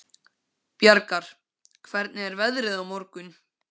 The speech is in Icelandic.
Bjargar, hvernig er veðrið á morgun?